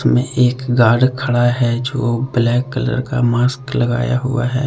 में एक गार्ड खड़ा है जो ब्लैक कलर का मास्क लगाया हुआ है।